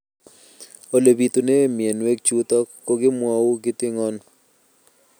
Ole pitune mionwek chutok ko kimwau kitig'�n